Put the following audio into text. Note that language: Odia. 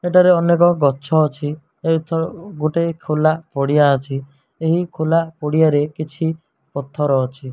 ଏଠାରେ ଅନେକ ଗଛ ଅଛି ଗୋଟେ ଖୋଲା ପଡିଆ ଅଛି। ଏହି ଖୋଲା ପଡିଆରେ କିଛି ପଥର ଅଛି।